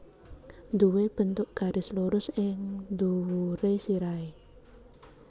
Nduwé bentuk garis lurus ing dhuwuré sirahé